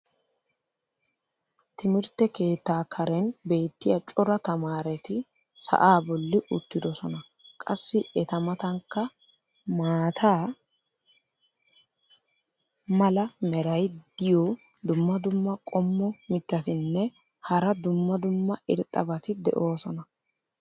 timirtte keettaa karen beetiya cora tamaaretti sa"aa boli uttidosona. qassi eta matankka maata mala meray diyo dumma dumma qommo mitattinne hara dumma dumma irxxabati de'oosona.